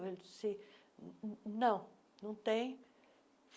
Ele disse, não, não tem.